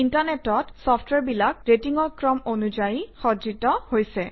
internet চফট্ৱেৰবিলাক ৰেটিঙৰ ক্ৰম অনুযায়ী সজ্জিত হৈছে